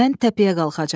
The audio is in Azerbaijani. Mən təpəyə qalxacam.